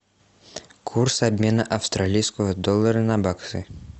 курс обмена австралийского доллара на баксы